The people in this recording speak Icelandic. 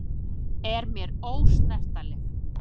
Er mér ósnertanleg.